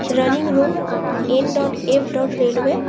Running room. N dot F dot railway.